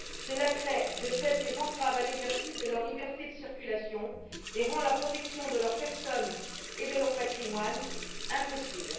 Cela crée, de fait, des entraves à l'exercice de leur liberté de circulation et rend la protection de leur personne et de leur patrimoine impossible.